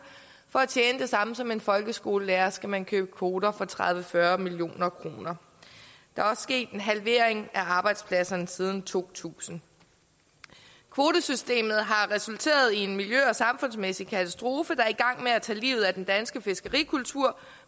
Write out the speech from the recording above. for at tjene det samme som en folkeskolelærer skal man købe kvoter for tredive til fyrre million kroner der er også sket en halvering af arbejdspladserne siden to tusind kvotesystemet har resulteret i en miljø og samfundsmæssig katastrofe der er i gang med at tage livet af den danske fiskerikultur